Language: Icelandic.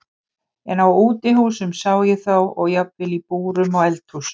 En á útihúsum sá ég þá og jafnvel í búrum og eldhúsum.